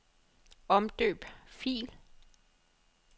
Omdøb fil.